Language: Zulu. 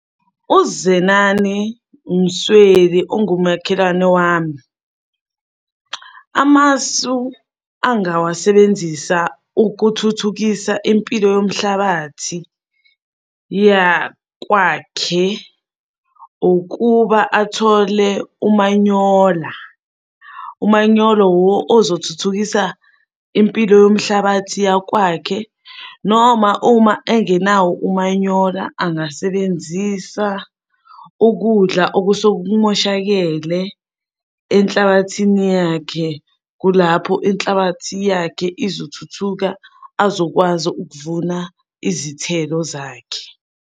UZenani Msweli ongumakhelwane wami, amasu angawasebenzisa ukuthuthukisa impilo yomhlabathi yakwakhe ukuba athole umanyola. Umanyolo wuwo ozothuthukisa impilo yomhlabathi yakwakhe, noma uma engenawo umanyola angasebenzisa ukudla okusuke kumoshakele enhlabathini yakhe. Kulapho inhlabathi yakhe izothuthuka azokwazi ukuvuna izithelo zakhe.